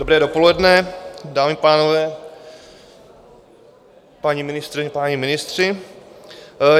Dobré dopoledne, dámy a pánové, paní ministryně, páni ministři.